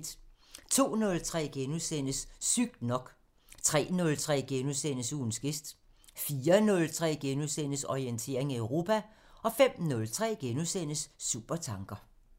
02:03: Sygt nok * 03:03: Ugens gæst * 04:03: Orientering Europa * 05:03: Supertanker *